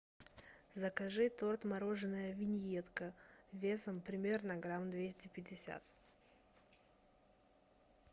закажи торт мороженое виньетка весом примерно грамм двести пятьдесят